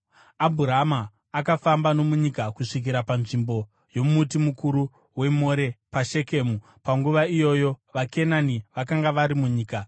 Abhurama akafamba nomunyika kusvikira panzvimbo yomuti mukuru weMore paShekemu. Panguva iyoyo vaKenani vakanga vari munyika.